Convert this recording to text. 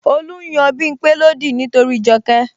Olu n yan Bimpe lódì nítorí Joke